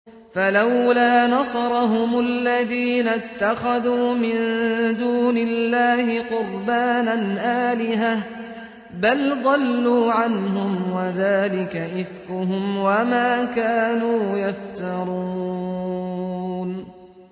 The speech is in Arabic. فَلَوْلَا نَصَرَهُمُ الَّذِينَ اتَّخَذُوا مِن دُونِ اللَّهِ قُرْبَانًا آلِهَةً ۖ بَلْ ضَلُّوا عَنْهُمْ ۚ وَذَٰلِكَ إِفْكُهُمْ وَمَا كَانُوا يَفْتَرُونَ